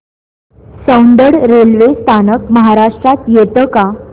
Soundad railway स्थानक महाराष्ट्रात येतं का